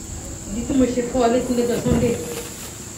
ìdí tí mo ṣe fọ ọ létí lọjọ sànńdẹ nìyẹn